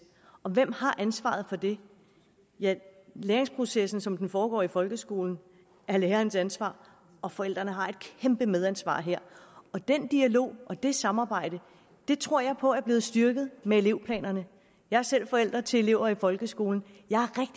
og hvem har ansvaret for det ja læringsprocessen som den foregår i folkeskolen er lærernes ansvar og forældrene har et kæmpe medansvar her den dialog og det samarbejde tror jeg på er blevet styrket med elevplanerne jeg er selv forælder til elever i folkeskolen og jeg